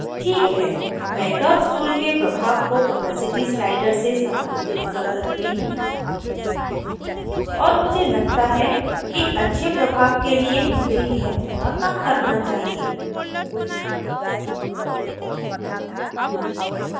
ठीक है मैं curves tool के प्रभाव को opacity slider से समायोजित कर सकती हूँ और मुझे लगता है कि अच्छे प्रभाव के लिए मुझे यह थोड़ा कम करना चाहिए